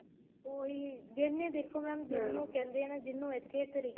ਉਹੀ ਜਿਹਨੇ ਦੇਖੋ mam ਜਿਹਨੂੰ ਕਹਿੰਦੇ ਏ ਜਿਹਨੂੰ ਇੱਥੇ ਤਰੀਕਾ